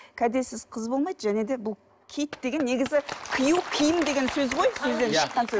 кәдесіз қыз болмайды және де бұл киіт деген негізі кию киім деген сөз ғой сөзден шыққан сөз